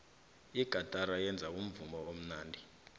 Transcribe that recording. igatara yenza umvumo omnandi